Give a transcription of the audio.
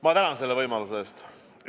Ma tänan selle võimaluse eest!